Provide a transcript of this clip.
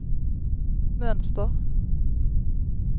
mönster